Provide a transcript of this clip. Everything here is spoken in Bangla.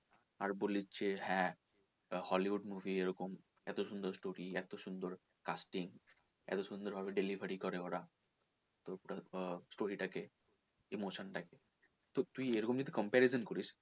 আর বলেছে হ্যাঁ hollywood movie এরকম এতো সুন্দর story এতো সুন্দর casting এতো সুন্দর ভাবে delivery করে ওরা total আহ story টা কে emotion টা কে তো তুই এরকম ভাবে যদি comparism করিস